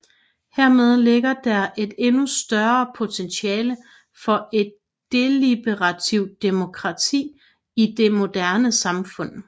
Hermed ligger der et endnu større potentiale for et deliberativt demokrati i det moderne samfund